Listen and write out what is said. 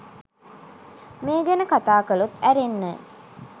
මේ ගැන කතා කලොත් ඇරෙන්න